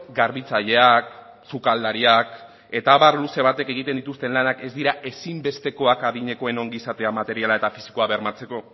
garbitzaileak sukaldariak eta abar luze batek egiten dituzten lanak ez dira ezinbestekoak adinekoen ongizatea materiala eta fisikoa bermatzeko